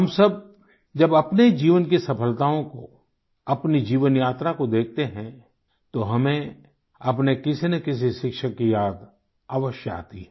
हम सब जब अपने जीवन की सफलताओं को अपनी जीवन यात्रा को देखते है तो हमें अपने किसी न किसी शिक्षक की याद अवश्य आती है